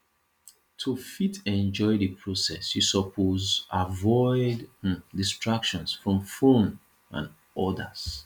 to fit enjoy di process you suppose avoid um distractions from phone and others